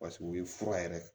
u ye fura yɛrɛ